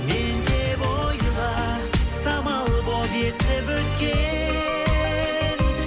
мен деп ойла самал болып есіп өткен